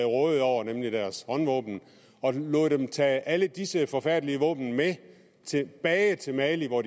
rådede over nemlig deres håndvåben og lod dem tage alle disse forfærdelige våben med tilbage til mali hvor